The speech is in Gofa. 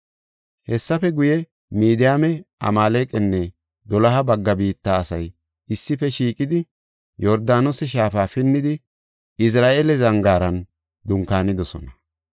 Hessafe guye, Midiyaame, Amaaleqanne doloha bagga biitta asay issife shiiqidi, Yordaanose shaafa pinnidi Izra7eela zangaaran dunkaanidosona.